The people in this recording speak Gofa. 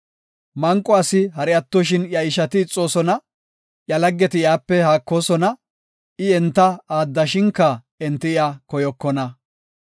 Manqo asi hari attoshin iya ishati ixoosona; iya laggeti iyape haakoosona; I enta aaddashinka enti iya koyokona.